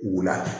Wula